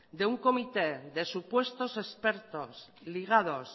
de un comité de supuestos expertos ligados